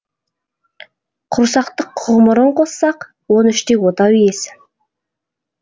құрсақтық ғұмырын қоссақ он үште отау иесі